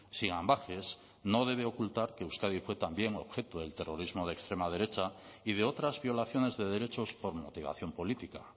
sin ambages no debe ocultar que euskadi fue también objeto del terrorismo de extrema derecha y de otras violaciones de derechos por motivación política